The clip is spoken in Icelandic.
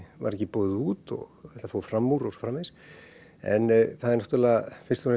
var ekki boðið út og þetta fór fram úr og svo framvegis en það er náttúrulega